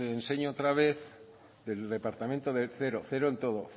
enseño otra vez del departamento cero cero en todo